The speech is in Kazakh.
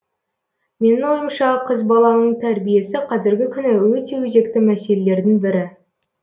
менің ойымша қыз баланың тәрбиесі қазіргі күні өте өзекті мәселелердің бірі